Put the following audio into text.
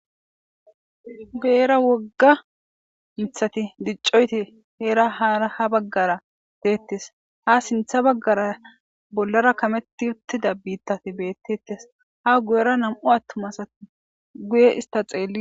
Beera wogga mithati diccoyti heera haaa ha baggara deettes ha sintha baggara bollara kametti uttida biittati beettettes ha guyera nam'u attumasatti guye ista xeelli.